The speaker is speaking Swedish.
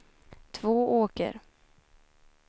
Tvååker